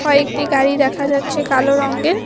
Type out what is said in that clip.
কয়েকটি গাড়ি দেখা যাচ্ছে কালো রঙ্গের।